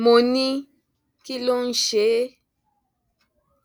mo ní kí ló ń ṣe é